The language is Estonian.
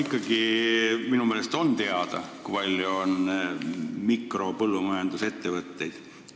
Aga minu meelest on küll teada, kui palju meil on mikropõllumajandusettevõtteid.